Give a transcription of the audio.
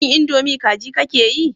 Shin indomie kaji kake yi?